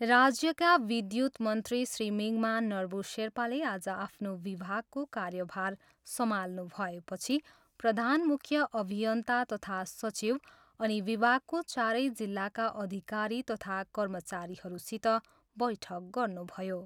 राज्यका विद्युत मन्त्री श्री मिङमा नर्बु सेर्पाले आज आफ्नो विभागको कार्यभार सम्हाल्नुभएपछि प्रधान मूख्य अभियन्ता तथा सचिव, अनि विभागको चारै जिल्लाका अधिकारी तथा कर्मचारीहरूसित बैठक गर्नुभयो।